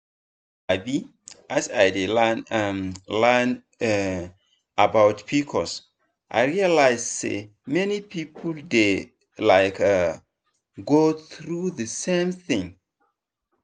um as i dey learn um learn um about pcos i realize say many people dey um go through the same thing.